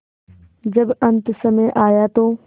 जब अन्तसमय आया तो